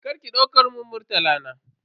Karki dauka mun Murtala na.